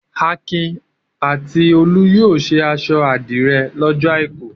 Akin a ti Olú yóò ṣe aṣọ àdìrẹ́ lọ́jọ́ àìkú.